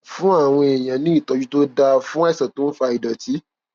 fún àwọn èèyàn ní ìtójú tó dáa fún àìsàn tó ń fa ìdòtí